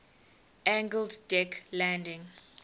angled deck landing